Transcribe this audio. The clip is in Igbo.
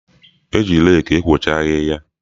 E ji reeki ekwocha ahịhịa.